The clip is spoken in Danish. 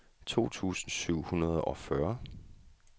to tusind syv hundrede og fyrre